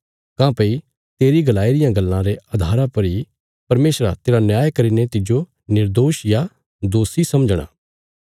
काँह्भई तेरी गलाई रिया गल्लां रे अधारा पर इ परमेशरा तेरा न्याय करीने तिज्जो निर्दोष या दोषी समझणा